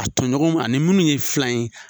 A tɔɲɔgɔn ani minnu ye filan ye.